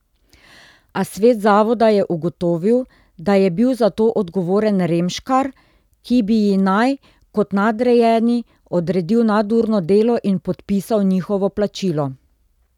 A svet zavoda je ugotovil, da je bil za to odgovoren Remškar, ki bi ji naj, kot nadrejeni, odredil nadurno delo in podpisal njihovo plačilo.